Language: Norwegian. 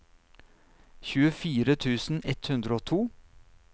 tjuefire tusen ett hundre og to